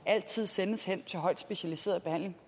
altid sendes hen til højt specialiseret behandling